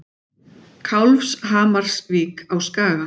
Kálfshamarsvík á Skaga.